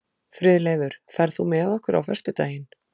Friðleifur, ferð þú með okkur á föstudaginn?